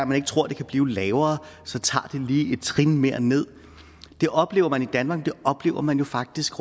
man ikke tror den kan blive lavere tager den lige et trin mere ned oplever man i danmark men det oplever man jo faktisk